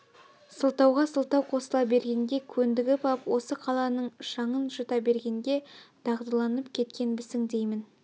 сылтауға сылтау қосыла бергенге көндгіп ап осы қаланың шаңын жұта бергенге дағдыланып кеткенбісің деймін